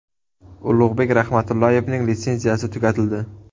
Ulug‘bek Rahmatullayevning litsenziyasi tugatildi.